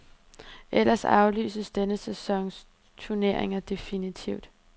Ellers aflyses denne sæsons turnering definitivt.